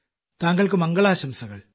താങ്കൾക്ക് മംഗളാശംസകൾ